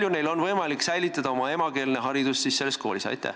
Kui palju on võimalik selles koolis riigikeelset õpet hoida?